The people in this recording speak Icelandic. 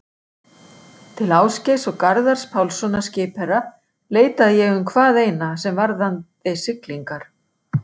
Til Ásgeirs og Garðars Pálssonar skipherra leitaði ég um hvað eina, sem varðaði siglingar.